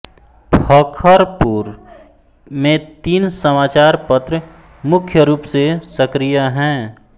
फखरपुर में तीन समाचार पत्र मुख्य रूप से सक्रिय हैं